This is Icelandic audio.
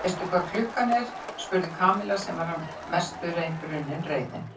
Veistu hvað klukkan er? spurði Kamilla sem var að mestu runnin reiðin.